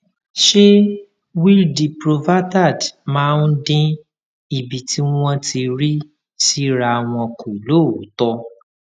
ṣé wiil diprovaterd máa ń dín ibi tí wón ti rí síra wọn kù lóòótó